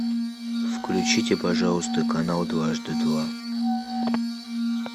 включите пожалуйста канал дважды два